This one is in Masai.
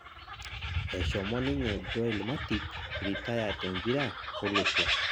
eshomo niye Joel Matip ritaya tmpira olosho